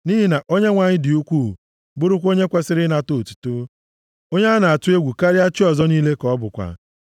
Nʼihi na Onyenwe anyị dị ukwuu, bụrụkwa onye kwesiri ịnata otuto; onye a na-atụ egwu karịa chi ọzọ niile ka ọ bụkwa.